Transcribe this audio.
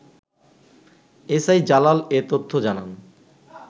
SI Jalal এ তথ্য জানান